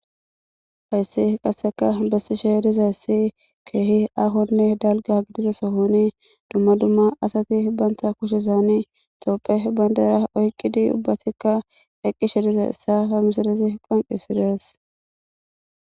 Payssi qasseka bessishe dizayssi keehi ahonne dalga gdiza sohoni dumma dumma asati banta kushizaani xoophe bandera oyqidi ubbatikka eqqishe diza issa famisaresi qoncisires.